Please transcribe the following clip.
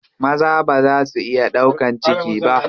Maza baza su iya ɗaukan ciki ba.